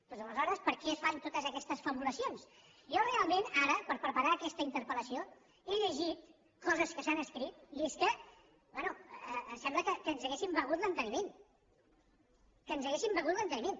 doncs aleshores per què es fan totes aquestes fabulacions jo realment ara per preparar aquesta interpel·lació he llegit coses que s’han escrit i és que bé sembla que ens haguem begut l’enteniment que ens haguem begut l’enteniment